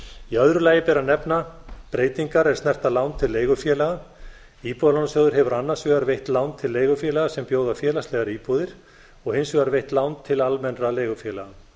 í öðru lagi ber að nefna breytingar er snerta lán til leigufélaga íbúðalánasjóður hefur annars vegar veitt lán til leigufélaga sem bjóða félagslegar íbúðir og hins vegar veitt lán til almennra leigufélaga